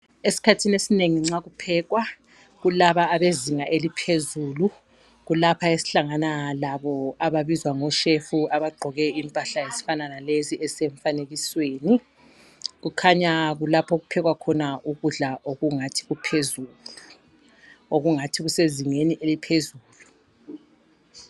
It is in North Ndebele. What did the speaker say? Esikhathini esinengi nxa kuphekwa, kulaba abazinga eliphezulu kulapha esihlangana labo ababizwa ngo shefu abagqoke impahla ezifana lalezi ezisemfanikisweni, kukhanya kulapho okuphekwa khona ukudla okungathi kuphezulu okungathi kusezingeni eliphezulu.